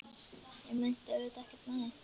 Ég meinti auðvitað ekkert með því.